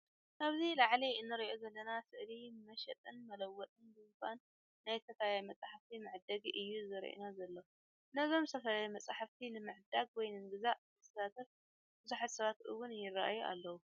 ኣብዚ ላዓሊ እንሪኦ ዘለና ስእሊ መሸጥን መለወጥን ድንኻን ናይ ዝተፈላለዩ መፃሓፍቲ መዐደጊ እዪ ዘሪኤና ዘሎ። ነዞም ዝተፈላለዩ መፃሓፍቲ ንምዕዳግ ወይ ንምግዛእ ዝሳተፉ ቡዙሓት ሰባት እውን ይራኣዩ ኣለው።